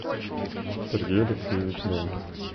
сергей алексеевич долгих